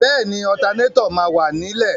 Bẹ́ẹ̀ni, ọtanétọ̀ máa wà ní lẹ̀.